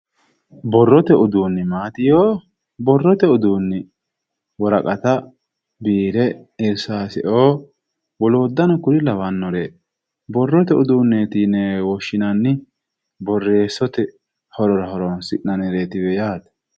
borrote uduunni maati yoo? borrote uduunni woraqataho, biire irsaaseo woloottano kuriu labbannore borrote udunne yinewe woshshinanni, borreessote horora horonsi'nannireetiwe yaate.